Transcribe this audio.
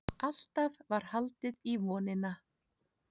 Alltaf var haldið í vonina.